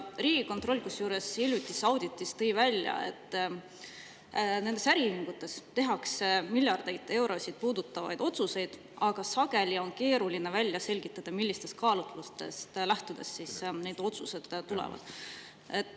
Riigikontroll muuseas tõi hiljutises auditis välja, et nendes äriühingutes tehakse miljardeid eurosid puudutavaid otsuseid, aga sageli on keeruline välja selgitada, millistest kaalutlustest lähtudes need otsused sünnivad.